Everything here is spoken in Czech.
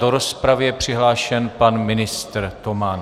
Do rozpravy je přihlášen pan ministr Toman.